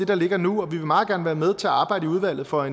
der ligger nu og vi vil meget gerne være med til at arbejde i udvalget for